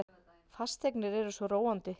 Fasteignir eru svo róandi.